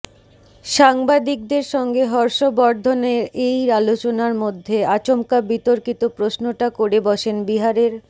সাংবাদিকদের সঙ্গে হর্ষ বর্ধনের এই আলোচনার মধ্যে আচমকা বিতর্কিত প্রশ্নটা করে বসেন বিহারের